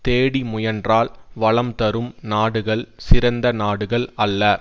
தேடி முயன்றால் வளம் தரும் நாடுகள் சிறந்த நாடுகள் அல்ல